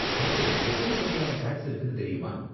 மொத்தம் எத்தனை வகையான டேக்ஸ் இருக்குனு தெரியுமா?